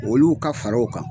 Olu ka fara o kan